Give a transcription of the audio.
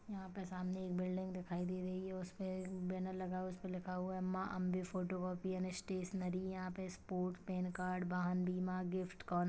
यहाँ पे सामने एक बिल्डिंग दिखाई दे रही है उसपे बैनर लगा है उसपे लिखा हुआ है Maa Ambe photo copy and stationery यहाँ पे स्पोर्ट पेन कार्ड वाहन बीमा गिफ्ट कार्नर --